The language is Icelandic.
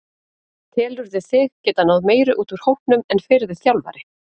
Telurðu þig geta náð meiru út úr hópnum en fyrri þjálfari?